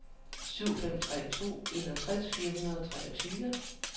syv fem tre to enogtres fire hundrede og treogtyve